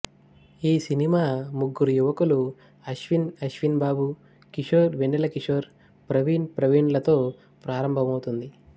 ఈ సినిమా ముగ్గురు యువకులు అశ్విన్ ఆశ్విన్ బాబు కిషోర్ వెన్నల కిషోర్ ప్రవీణ్ ప్రవీణ్ లతొ ప్రారంభమవుతుంది